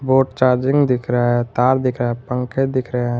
और चार्जिंग दिख रहा है तार दिख रहा है पंखे दिख रहें हैं।